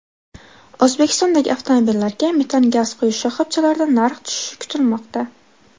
O‘zbekistondagi avtomobillarga metan gaz quyish shoxobchalarida narx tushishi kutilmoqda.